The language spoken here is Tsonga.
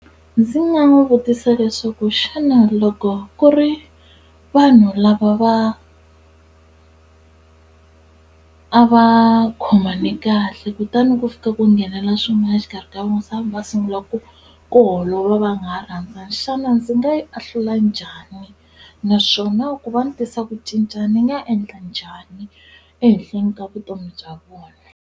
Ndzi nga n'wi vutisa leswaku xana loko ku ri vanhu lava va a va khomane kahle kutani ku fika ku nghenela swin'wana exikarhi ka vona se va sungula ku ku holova va nga ha rhandzani xana ndzi nga yi ahlula njhani naswona ku va ni tisa ku cinca ni nga endla njhani ehenhleni ka vutomi bya vona.